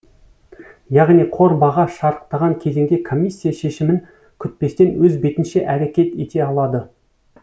яғни қор баға шарықтаған кезеңде комиссия шешімін күтпестен өз бетінше әрекет ете алады